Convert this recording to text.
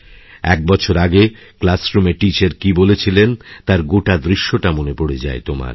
এক বছর আগেক্লাসরুমে টিচার কী বলেছিলেন তার গোটা দৃশ্যটা মনে পড়ে যায় তোমার